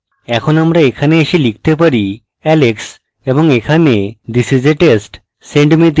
এখন আমরা এখানে এসে লিখতে পারি alex এবং এখানে this is a test!